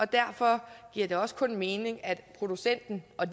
derfor giver det også kun mening at producenten og